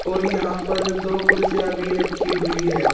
और यहां पर दो कुर्सियां भी रखी हुई है।